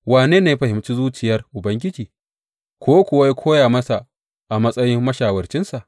Wane ne ya fahimci zuciyar Ubangiji, ko kuwa ya koya masa a matsayin mashawarcinsa?